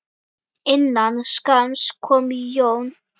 Innan skamms kom John.